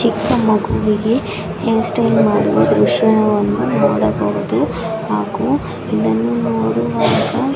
ಚಿಕ್ಕ ಮಗುವಿಗೆ hairstyle ಮಾಡುವ ದೃಶ್ಯವನ್ನು ನೋಡಬಹುದು ಹಾಗು ಇದನ್ನು ನೋಡುವಾಗ --